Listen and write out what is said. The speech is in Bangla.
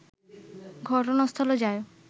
ঘটনাস্থলে যায়